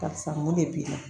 Karisa mun de b'i la